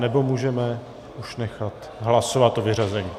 Nebo můžeme už nechat hlasovat o vyřazení.